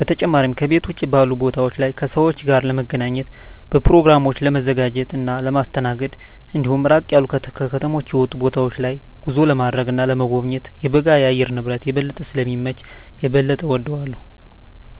በተጨማሪም ከቤት ውጭ ባሉ ቦታወች ላይ ከሰወች ጋር ለመገናኘት፣ በኘሮግራሞችን ለማዘጋጀት እና ለማስተናገድ እንዲሁም ራቅ ያሉ ከከተማ የወጡ ቦታወች ላይ ጉዞ ለማድረግ እና ለመጎብኘት የበጋ የአየር ንብረት የበለጠ ስለሚመች የበለጠ እወደዋለሁ።